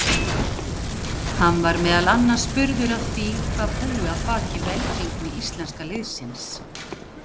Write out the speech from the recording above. Hann var meðal annars spurður að því hvað búi að baki velgengni íslenska liðsins.